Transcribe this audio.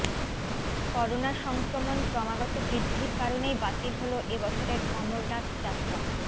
corona সংক্রমণ ক্রমাগত বৃদ্ধির কারণেই বাতিল হল এবছরের অমরনাথ যাত্রা